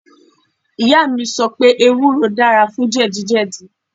Ìyá mi sọ wípé ewúro dára fún jẹ̀díjẹ̀dí.